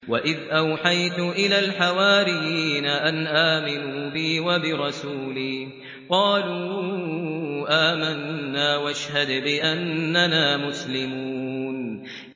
وَإِذْ أَوْحَيْتُ إِلَى الْحَوَارِيِّينَ أَنْ آمِنُوا بِي وَبِرَسُولِي قَالُوا آمَنَّا وَاشْهَدْ بِأَنَّنَا مُسْلِمُونَ